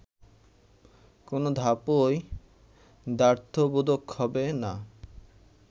কোন ধাপই দ্ব্যর্থবোধক হবে না